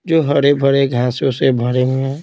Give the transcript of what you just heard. जो हरे-भरे घांसों से भरे हुए हैं।